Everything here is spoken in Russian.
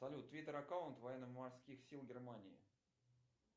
салют твиттер аккаунт военно морских сил германии